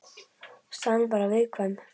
Staðan er bara viðkvæm